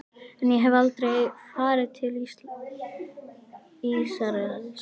En ég hef aldrei farið til Ísraels.